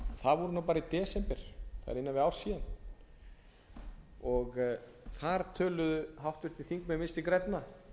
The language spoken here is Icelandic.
það er innan við ár síðan og þar töluðu háttvirtir þingmenn vinstri grænna